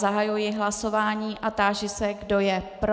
Zahajuji hlasování a táži se, kdo je pro.